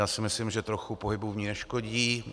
Já si myslím, že trochu pohybu v ní neškodí.